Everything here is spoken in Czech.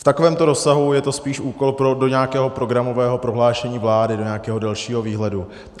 V takovémto rozsahu je to spíš úkol do nějakého programového prohlášení vlády do nějakého dalšího výhledu.